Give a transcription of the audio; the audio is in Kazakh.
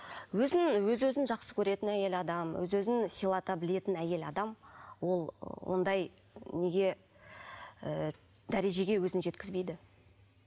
өзін өз өзін жақсы көретін әйел адам өз өзін сыйлата білетін әйел адам ол ондай неге ы дәрежеге өзін жеткізбейді